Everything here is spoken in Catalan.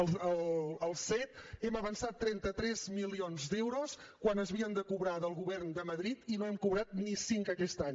als cet hem avançat trenta tres milions d’euros quan s’havien de cobrar del govern de madrid i no hem cobrat ni cinc aquest any